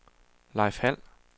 Leif Hald